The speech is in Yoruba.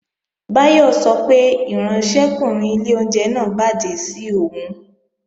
Báyọ̀ sọ pé ìránṣẹ́kùnrin ilé oúnjẹ náà bàjẹ́ sí òun